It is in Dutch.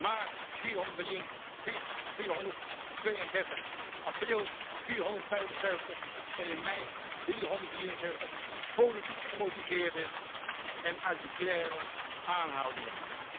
maart 432, in april 475 en in mei 373 politiek gemotiveerde en arbitraire aanhoudingen.